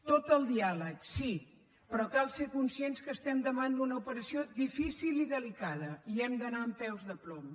tot el diàleg sí però cal ser conscients que estem davant d’una operació difícil i delicada i hem d’anar amb peus de plom